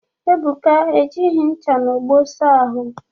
Ebuka ejighi ncha na ogbo saa ụnyahụ